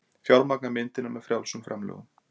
Fjármagna myndina með frjálsum framlögum